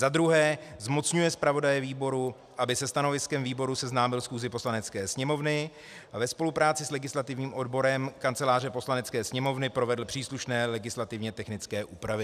Za druhé, zmocňuje zpravodaje výboru, aby se stanoviskem výboru seznámil schůzi Poslanecké sněmovny a ve spolupráci s legislativním odborem Kanceláře Poslanecké sněmovny provedl příslušné legislativně technické úpravy.